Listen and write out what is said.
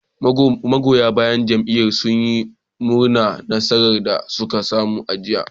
Magoya bayan jam'iyyar sun yi murnar nasarar da suka samu a jiya